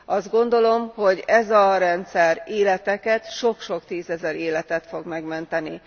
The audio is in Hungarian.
Azt gondolom, hogy ez a rendszer életeket, sok sok tízezer életet fog megmenteni.